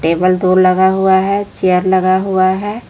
Table tool लगा हुआ है चेयर लगा हुआ है।